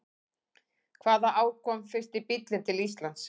Hvaða ár kom fyrsti bíllinn til Íslands?